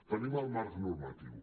tenim el marc normatiu